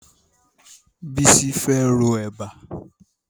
Bísí fẹ́ ro Ẹ̀bà